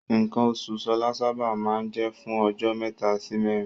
Nǹkan oṣù Ṣọlá sábà máa ń jẹ́ fún ọjọ́ mẹ́ta sí mẹ́rin.